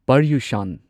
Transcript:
ꯄꯔꯌꯨꯁꯥꯟ